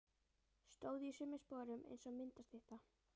Stóð í sömu sporum eins og myndastytta.